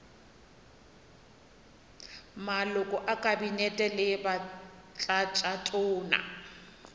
maloko a kabinete le batlatšatona